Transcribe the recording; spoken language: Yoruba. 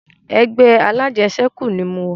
Ẹgbẹ́ alajẹsẹ́kù ni mo wà